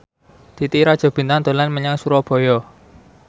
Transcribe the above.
Titi Rajo Bintang dolan menyang Surabaya